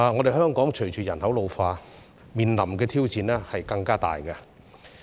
在香港，隨着人口老化，我們面臨的挑戰將會更大。